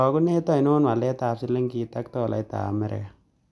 Karagunet ainon waletap silingit ak tolaiitap amerika